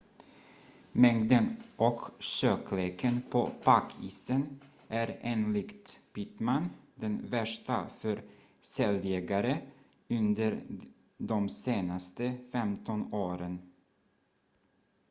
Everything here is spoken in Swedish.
mängden och tjockleken på packisen är enligt pittman den värsta för säljägare under de senaste 15 åren